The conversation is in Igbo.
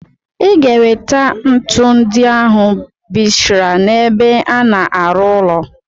Iga ewete ntu ndi ahu bisra n' ebe ana arụ ụlọ!!